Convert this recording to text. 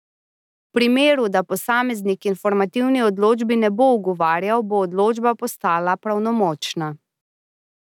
V primeru, da posameznik informativni odločbi ne bo ugovarjal, bo odločba postala pravnomočna.